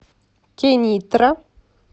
кенитра